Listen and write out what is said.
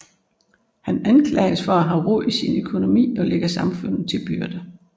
Han anklages for at have rod i sin økonomi og ligge samfundet til byrde